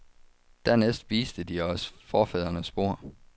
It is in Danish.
Dernæst viste de os forfædrenes spor.